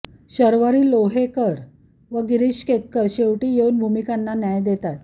शर्वरी लोहोकरे व गिरीश केतकर शेवटी येऊन भूमिकांना न्याय देतात